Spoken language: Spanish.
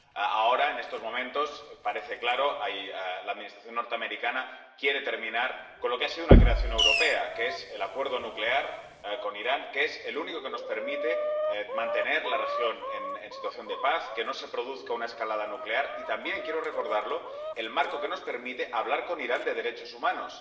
Ahora, en estos momentos, parece claro, la Administración norteamericana quiere terminar con lo que ha sido una creación europea, que es el acuerdo nuclear con Irán, que es el único que nos permite mantener la región en situación de paz, que no se produzca una escalada nuclear y que, también —quiero recordarlo—, es el marco que nos permite hablar con Irán de derechos humanos.